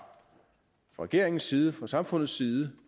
regeringens side fra samfundets side